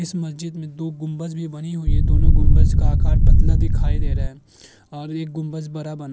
इस मस्जिद में दो गुम्बज भी बने हुए हैं दोनो गुम्बज का आकार पतला दिखाई दे रहे है और ये गुम्बस बड़ा बना --